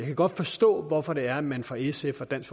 kan godt forstå hvorfor det er man fra sfs og dansk